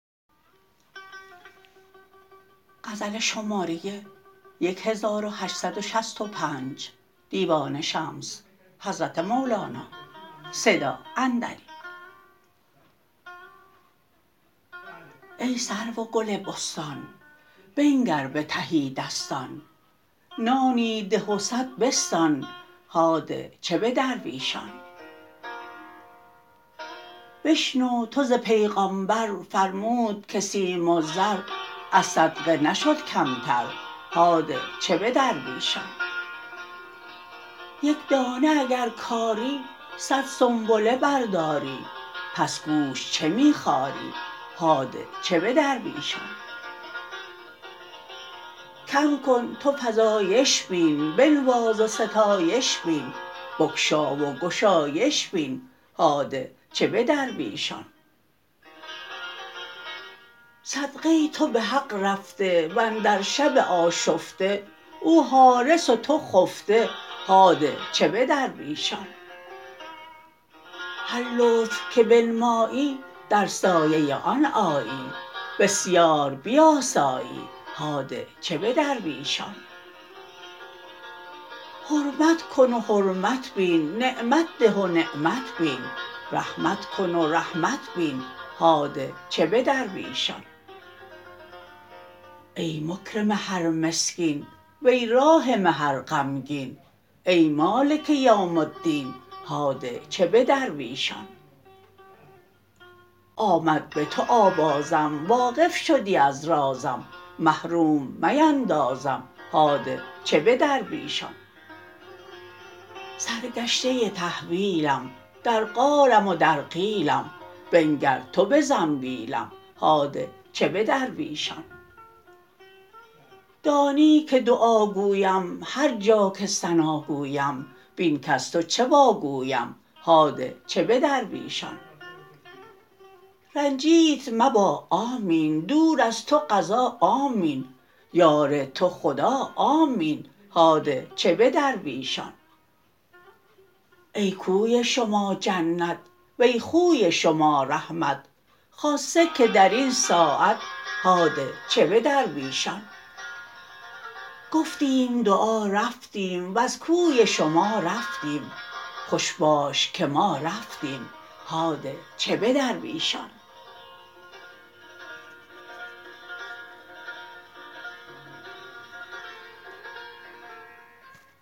ای سرو و گل بستان بنگر به تهی دستان نانی ده و صد بستان هاده چه به درویشان بشنو تو ز پیغامبر فرمود که سیم و زر از صدقه نشد کمتر هاده چه به درویشان یک دانه اگر کاری صد سنبله برداری پس گوش چه می خاری هاده چه به درویشان کم کن تو فزایش بین بنواز و ستایش بین بگشا و گشایش بین هاده چه به درویشان صدقه تو به حق رفته و اندر شب آشفته او حارس و تو خفته هاده چه به درویشان هر لطف که بنمایی در سایه آن آیی بسیار بیاسایی هاده چه به درویشان حرمت کن و حرمت بین نعمت ده و نعمت بین رحمت کن و رحمت بین هاده چه به درویشان ای مکرم هر مسکین و ای راحم هر غمگین ای مالک یوم الدین هاده چه به درویشان آمد به تو آوازم واقف شدی از رازم محروم میندازم هاده چه به درویشان سرگشته تحویلم در قالم و در قیلم بنگر تو به زنبیلم هاده چه به درویشان دانی که دعا گویم هر جا که ثنا گویم بین کز تو چه واگویم هاده چه به درویشان رنجیت مبا آمین دور از تو قضا آمین یار تو خدا آمین هاده چه به درویشان ای کوی شما جنت وی خوی شما رحمت خاصه که در این ساعت هاده چه به درویشان گفتیم دعا رفتیم وز کوی شما رفتیم خوش باش که ما رفتیم هاده چه به درویشان